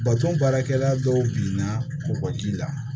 Bato baarakɛla dɔw binna bɔgɔ ji la